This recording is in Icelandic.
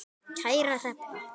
Kæra Hrefna,